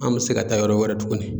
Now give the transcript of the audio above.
An bɛ se ka taa yɔrɔ wɛrɛ tugunni.